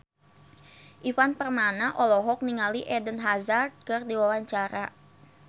Ivan Permana olohok ningali Eden Hazard keur diwawancara